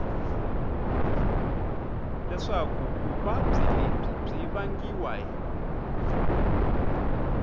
leswaku vuvabyi lebyi byi vangiwa